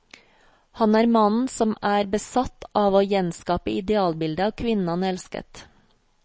Han er mannen som er besatt av å gjenskape idealbildet av kvinnen han elsket.